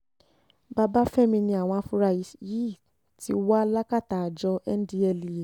babafẹ́mi ni àwọn afurasí yìí ti wà lákàtà àjọ ndtea